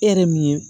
E yɛrɛ min ye